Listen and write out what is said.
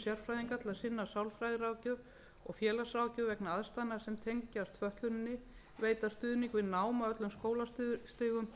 sérfræðinga til að sinna sálfræðiráðgjöf og félagsráðgjöf vegna aðstæðna sem tengjast fötluninni veita stuðning við nám á öllum skólastigum